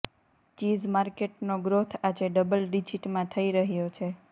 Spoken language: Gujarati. ચીઝ માર્કેટનો ગ્રોથ આજે ડબલ ડિજિટમાં થઈ રહ્યો છે